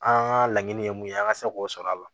An ka laɲini ye mun ye an ka se k'o sɔrɔ a la